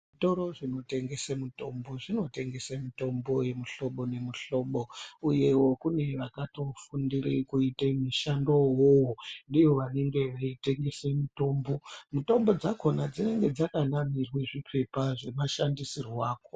Zvitoro zvinotengese mutombo zvinotengese mutombo yemuhlobo nemuhlobo uyewo kune vakatofundire kuite mushando uwowo ndivo vanenge veitengese mitombo. Mutombo dzakona dzinenge dzakanamirwe zvipepa zvemashandisirwo akona.